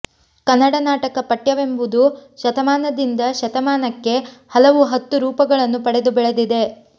ಕನ್ನಡ ನಾಟಕ ಪಠ್ಯವೆಂಬುದು ಶತಮಾನದಿಂದ ಶತಮಾನಕ್ಕೆ ಹಲವು ಹತ್ತು ರೂಪಗಳನ್ನು ಪಡೆದು ಬೆಳೆದಿದೆ